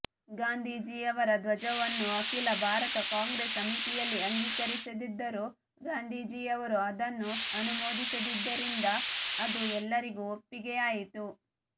ಗಾಂಧೀಜಿಯವರ ಧ್ವಜವನ್ನು ಅಖಿಲ ಭಾರತ ಕಾಂಗ್ರೆಸ್ ಸಮಿತಿಯಲ್ಲಿ ಅಂಗೀಕರಿಸದಿದ್ದರೂ ಗಾಂಧೀಜಿಯವರು ಅದನ್ನು ಅನುಮೋದಿಸಿದ್ದರಿಂದ ಅದು ಎಲ್ಲರಿಗೂ ಒಪ್ಪಿಗೆಯಾಯಿತು